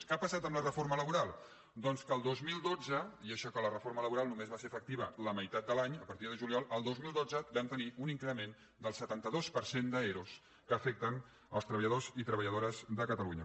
què ha passat amb la reforma laboral doncs que el dos mil dotze i això que la reforma laboral només va ser efec·tiva la meitat de l’any a partir de juliol vam tenir un increment del setanta dos per cent d’ero que afecten els tre·balladors i treballadores de catalunya